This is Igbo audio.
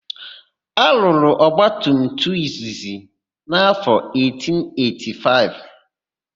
A rụrụ ọgbatumtum izizi n'áfọ 1885.